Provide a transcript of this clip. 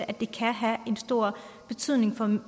at det kan have en stor betydning for